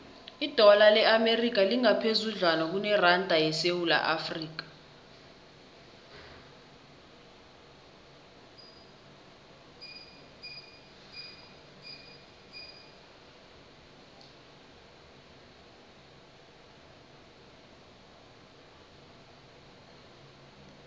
idola le amerika lingaphezudlwana kuneranda yesewula afrika